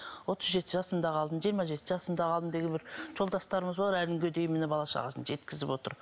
отыз жеті жасымда қалдым жиырма жеті жасымда қалдым деген бір жолдастарымыз бар әлі күнге дейін міне бала шағасын жеткізіп отыр